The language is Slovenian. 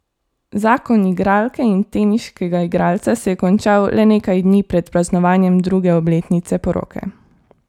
Zakon igralke in teniškega igralca se je končal le nekdaj dni pred praznovanjem druge obletnice poroke.